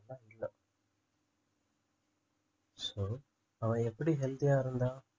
அதெல்லாம் இல்ல so அவன் எப்படி healthy ஆ இருந்தான்